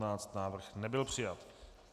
Návrh nebyl přijat.